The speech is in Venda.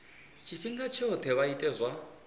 tshifhinga tshoṱhe vha ite zwa